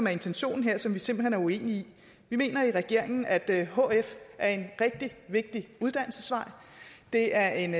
er intentionen her som vi simpelt hen er uenige i vi mener i regeringen at hf er en rigtig vigtig uddannelsesvej det er en